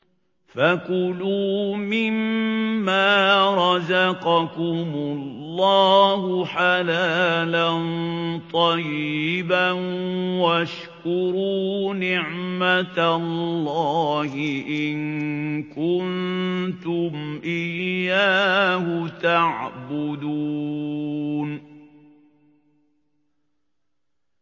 فَكُلُوا مِمَّا رَزَقَكُمُ اللَّهُ حَلَالًا طَيِّبًا وَاشْكُرُوا نِعْمَتَ اللَّهِ إِن كُنتُمْ إِيَّاهُ تَعْبُدُونَ